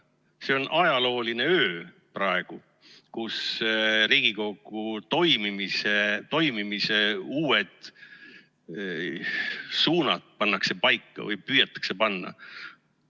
See praegu on ajalooline öö, kus pannakse või püütakse panna paika Riigikogu toimimise uued suunad.